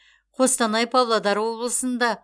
қостанай павлодар облысында